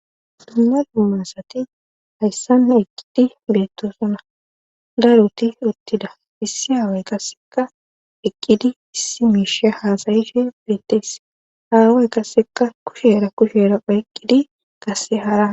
duuna duumasati hayssan eqqidi geettosona daaruti uttida issi haaway kasseka eqqidi issi miisha haasayishe beettees haaway qasseka kushera kushera phaeqqidi qasse hara